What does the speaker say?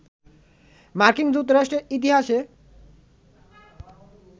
মার্কিন যুক্তরাষ্ট্রের ইতিহাসে